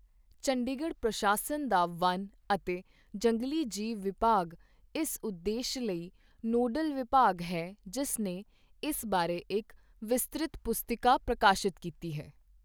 ਚੰਡੀਗੜ੍ਹ ਪ੍ਰਸ਼ਾਸਨ ਦਾ ਵਣ ਅਤੇ ਜੰਗਲੀ ਜੀਵ ਵਿਭਾਗ ਇਸ ਉਦੇਸ਼ ਲਈ ਨੋਡਲ ਵਿਭਾਗ ਹੈ ਜਿਸ ਨੇ ਇਸ ਬਾਰੇ ਇੱਕ ਵਿਸਤ੍ਰਿਤ ਪੁਸਤਿਕਾ ਪ੍ਰਕਾਸ਼ਿਤ ਕੀਤੀ ਹੈ।